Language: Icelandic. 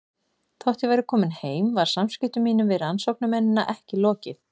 Þótt ég væri komin heim var samskiptum mínum við rannsóknarmennina ekki lokið.